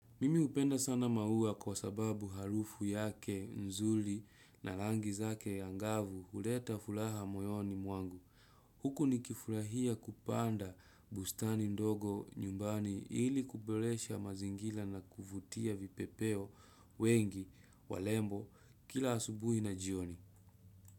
Mimi hupenda sana maua kwa sababu harufu yake nzuri na rangi zake angavu huleta furaha moyoni mwangu. Huku nikifurahia kupanda bustani ndogo nyumbani ili kuberesha mazingira na kuvutia vipepeo wengi warembo kila asubuhi na jioni.